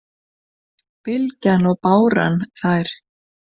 Bylgjan og báran þær